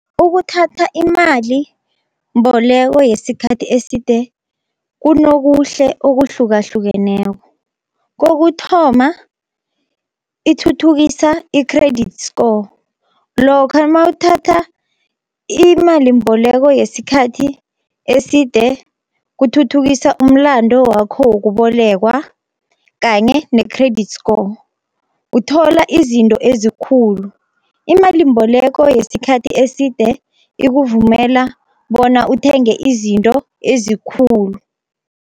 Ukuthatha imalimboleko yesikhathi eside kunokuhle okuhlukahlukeneko. Kokuthoma ithuthukisa i-credit score, lokha mawuthatha imalimboleko yesikhathi eside kuthuthukisa umlando wakho wokubolekwa, kanye ne-credit score. Uthola izinto ezikhulu imalimboleko yesikhathi eside ikuvumela bona uthenge izinto ezikhulu.